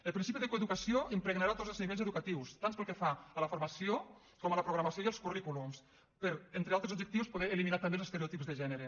el principi de coeducació impregnarà tots els nivells educatius tant pel que fa a la formació com a la programació i els currículums per entre altres objectius poder eliminar també els estereotips de gènere